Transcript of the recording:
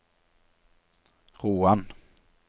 Roan